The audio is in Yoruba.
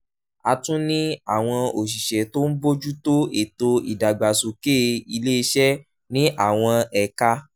a tún ní àwọn òṣìṣẹ́ tó ń bójú tó ètò ìdàgbàsókè ilé iṣẹ́ ní àwọn ẹ̀ka